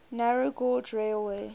narrow gauge railway